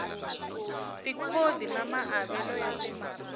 tikhodi na maavelo ya timaraka